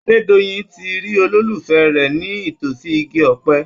Adédoyin ti rí olólùfẹ́ rẹ̀ ní itòsí igi ọ̀pẹ.